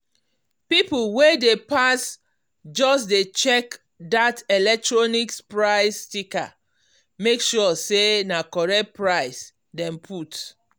people wey dey pass just dey check that electronics price sticker make sure say na correct price dem put.